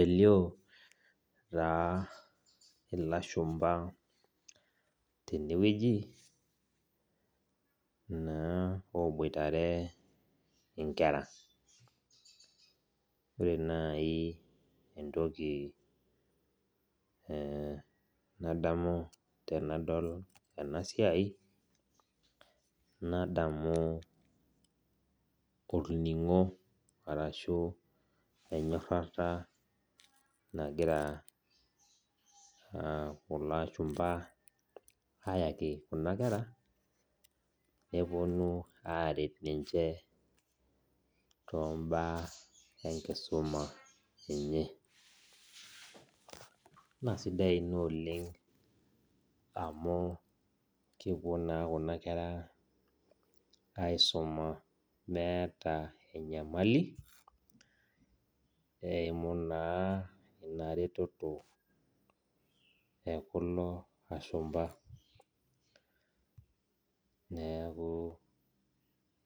Elio naa ilashumba tenewueji na eboitare nkera ore nai entoki nadamu tanadol enasiai nadamu olningo ashu enyorara nagira kulo ashumba ayaki kuna kera neponu aret ninche tombaa enkisuma na sidai ina oleng amu kepuo na kuna kera aisuma meeta enyemali, neaku